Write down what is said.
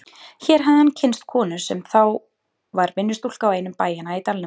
Hér hafði hann kynnst konu sinni sem þá var vinnustúlka á einum bæjanna í dalnum.